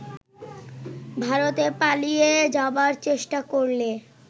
ভারতে পালিয়ে যাবার চেষ্টা করলে